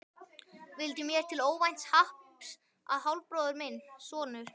Vildi mér til óvænts happs að hálfbróðir minn, sonur